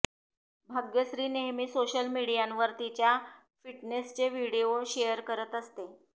भाग्यश्री नेहमी सोशल मीडियावर तिच्या फिटनेसचे व्हिडीओ शेअर करत असते